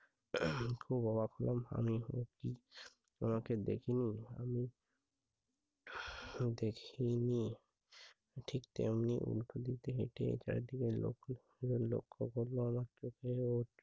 খুব অবাক হলাম আমি। ও কি আমাকে দেখেনি? আমি দেখিনি, ঠিক তেমনি উল্টো দিক থেকে হেটে চারদিকে লক্ষ্য করল